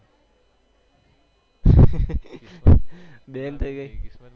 band થઈ ગઈ